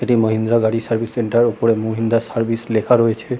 এটি মাহিন্দ্রা গাড়ি service centre এর ওপরে মাহিন্দ্রা সার্ভিস সেন্টার লেখা রয়েছে ।